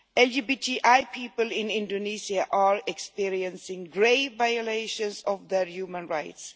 LGBTI people in Indonesia are experiencing grave violations of their human rights.